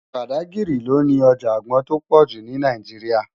Bádágiri lò ni òjá ágbòn tó pòjú ni Náijiriá